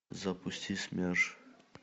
запусти смерш